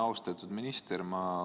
Austatud minister!